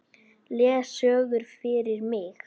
Les sögur fyrir mig.